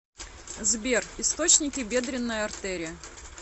сбер источники бедренная артерия